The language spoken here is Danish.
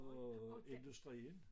Og industrien